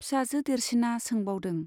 फिसाजो देरसिना सोंबावदों।